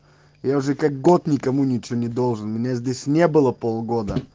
я уже как год никому ничего не должен меня здесь не было полгода